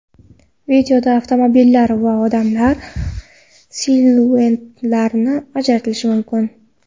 Videoda avtomobillar va odamlar siluetlarini ajratish mumkin.